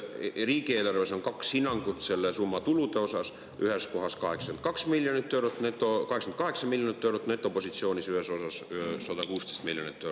Riigieelarves on kaks hinnangut selle summa tuludele: ühes kohas on 88 miljonit eurot netopositsioonis ja ühes kohas on 116 miljonit eurot.